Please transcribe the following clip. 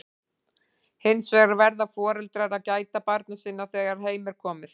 Hins vegar verða foreldrar að gæta barna sinna þegar heim er komið.